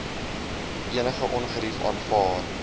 enige ongerief aanvaar